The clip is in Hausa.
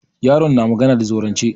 Yaron na magana da zaurance.